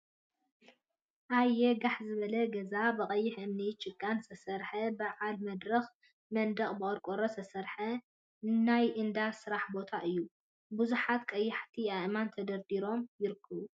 ኣየ ጋሕ ዝበለ ገዛ! ብቀይሕ እምኒን ጭቃን ዝተሰርሐ በዓል መድረክ መንደቅ ብቆርቆሮ ዝተሰርሐ ናይ እንዳ ስራሕ ቦታ እዩ። ቡዙሓት ቀያሕቲ ኣእማን ተደርዲሮም ይርከቡ።